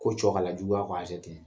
Ko cɛkala juguya ko a ten